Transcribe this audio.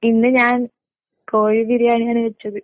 ഇന്ന് ഞാൻ കോഴി ബിരിയാണിയാണ് വെച്ചത്.